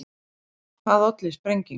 Hvað olli sprengingunni